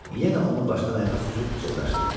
Yenə onu başdan ayağa süzüb pıçıldaşdılar.